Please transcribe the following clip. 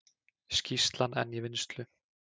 Skýrslan enn í vinnslu